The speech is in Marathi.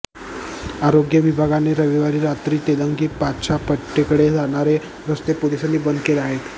आरोग्य विभागाने रविवारी रात्री तेलंगी पाच्छा पेठेकडे जाणारे रस्ते पोलिसांनी बंद केले आहेत